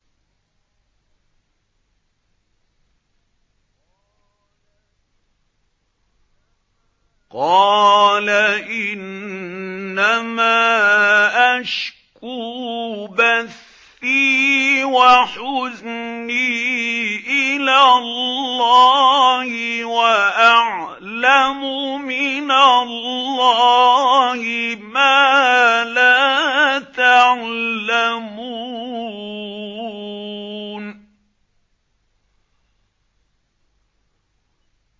قَالَ إِنَّمَا أَشْكُو بَثِّي وَحُزْنِي إِلَى اللَّهِ وَأَعْلَمُ مِنَ اللَّهِ مَا لَا تَعْلَمُونَ